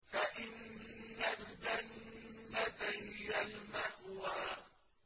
فَإِنَّ الْجَنَّةَ هِيَ الْمَأْوَىٰ